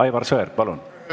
Aivar Sõerd, palun!